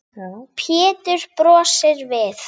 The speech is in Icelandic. Pétur brosir við.